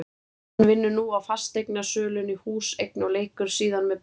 Hann vinnur nú á fasteignasölunni Húseign og leikur síðan með Blikum.